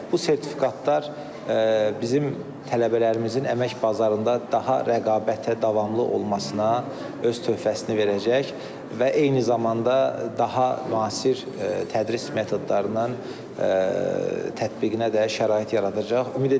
Bu sertifikatlar bizim tələbələrimizin əmək bazarında daha rəqabətə davamlı olmasına öz töhfəsini verəcək və eyni zamanda daha müasir tədris metodlarının tətbiqinə də şərait yaradacaq.